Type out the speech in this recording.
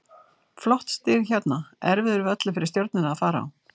Flott stig hérna, erfiður völlur fyrir Stjörnuna að fara á.